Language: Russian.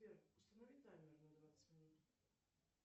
сбер установи таймер на двадцать минут